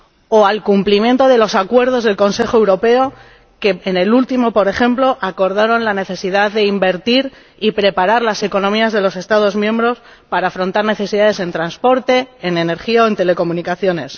o al cumplimiento de los acuerdos del Consejo Europeo, que, en su última reunión, por ejemplo, acordó la necesidad de invertir y preparar las economías de los Estados miembros para afrontar necesidades en transporte, en energía o en telecomunicaciones.